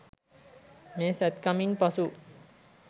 මේ "සැත්කමින්" පසු